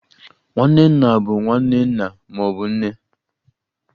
Nwanne nna bụ nwanne nna ma ọ bụ nne.